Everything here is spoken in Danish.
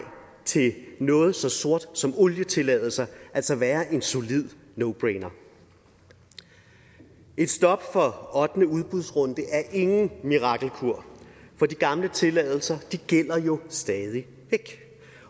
til noget så sort som olietilladelser altså være en solid no brainer et stop for ottende udbudsrunde er ingen mirakelkur for de gamle tilladelser gælder jo stadig væk